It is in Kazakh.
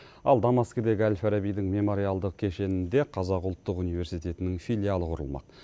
ал дамаскідегі әл фарабидің мемориалдық кешенінде қазақ ұлттық университетінің филиалы құрылмақ